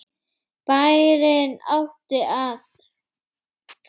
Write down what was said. Bærinn átti það.